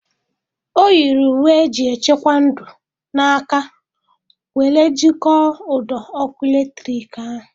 Ọ yiri uwe eji echekwa ndụ na aka were jikọọ ụdọ ọkụ eletrik ahụ.